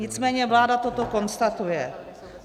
Nicméně vláda toto konstatuje.